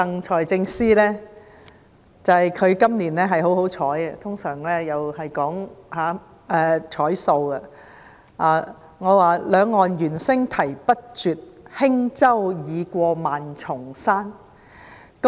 財政司司長今年很幸運，我想向他贈言："兩岸猿聲啼不住，輕舟已過萬重山"。